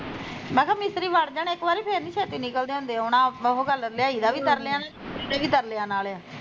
ਮੈਂ ਕਿਹਾਂ ਮਿਸਤਰੀ ਵੜ ਜਾਣ ਇੱਕ ਵਾਰੀ ਫਿਰ ਨੀ ਛੇਤੀ ਨਿਕਲਦੇ ਹੁੰਦੇ ਹੁਣ ਉਹੋ ਗੱਲ ਵੀ ਲਿਆਈਦਾ ਵੀ ਤਰਲਿਆਂ ਨਾਲ਼ ਤੇ ਕੱਢੀ ਦੇ ਵੀ ਤਰਲਿਆਂ ਨਾਲ਼ ਆ